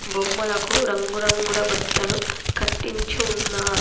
బొమ్మలకు రంగురంగుల బట్టలు కట్టించు ఉన్నారు.